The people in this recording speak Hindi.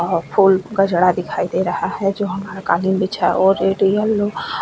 फूल का जड़ा दिखाई दे रहा है जो हमारा काली मिर्च है और ये --